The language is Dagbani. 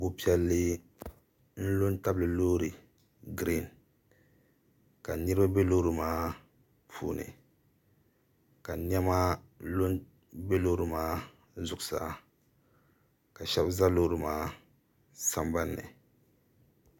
bu' piɛlli n-lo tabili loor' giriin ka niriba be loori maa puuni ka nɛma lo m-be loori maa zuɣusaa ka shɛba za loori maa sambani ni